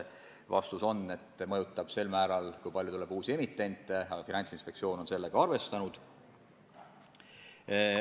Vastus on, et mõjutab selle võrra, kui palju tuleb uusi emitente, aga Finantsinspektsioon on sellega arvestanud.